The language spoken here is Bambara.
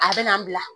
A bɛ na n'a bila